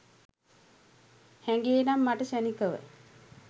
හැඟේ නම් මට ක්‍ෂණිකව